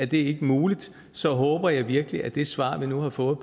det ikke muligt så håber jeg virkelig at det svar vi nu har fået